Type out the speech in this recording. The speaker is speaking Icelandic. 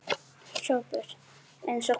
SOPHUS: Eins og hvað?